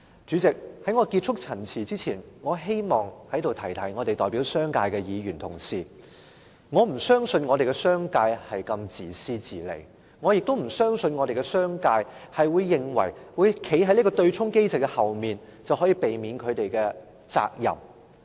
主席，在我結束陳辭前，我希望提醒代表商界的議員，我不相信商界是如此自私自利，我亦不相信商界會認為躲在對沖機制後面便能逃避責任。